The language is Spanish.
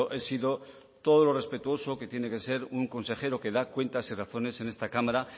he sido todo lo respetuoso que tiene que ser un consejero que da cuentas y razones en esta cámara